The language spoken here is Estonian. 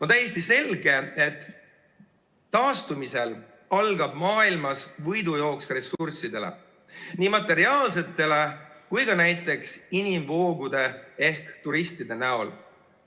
On täiesti selge, et taastumise korral algab maailmas võidujooks ressursside järele, nii materiaalsete kui ka näiteks inimvoogude ehk turistide järele.